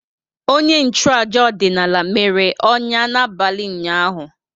Onye nchụaja ọdịnala mere ọnya n'abalị ụnyaahụ.